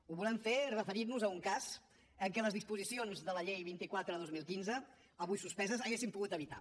ho volem fer referint nos a un cas en què les disposicions de la llei vint quatre dos mil quinze avui suspeses haurien pogut evitar